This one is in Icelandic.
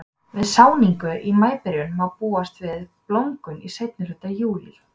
Við sáningu í maíbyrjun má búast við blómgun í seinni hluta júlí.